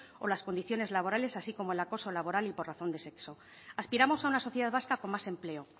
o las condiciones laborales así como el acoso laboral y por razón de sexo aspiramos a una sociedad vasca con más empleo